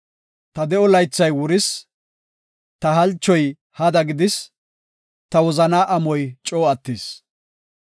Ta de7o laythay wuris; ta halchoy hada gidis; ta wozanaa amoy coo attis.